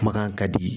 Kumakan ka di